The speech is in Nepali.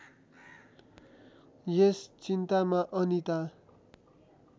यस चिन्तामा अनिता